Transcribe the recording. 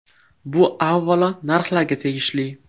Bu avvalo narxlarga tegishli.